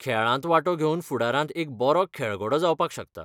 खेळांत वांटो घेवन फुडारांत एक बरो खेऴगडो जावपाक शकता.